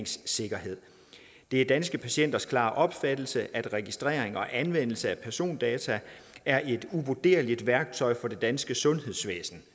sikkerhed det er danske patienters klare opfattelse at registrering og anvendelse af persondata er et uvurderligt værktøj for det danske sundhedsvæsen